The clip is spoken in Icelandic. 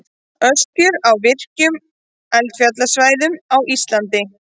Öskjur á virkum eldfjallasvæðum á Íslandi.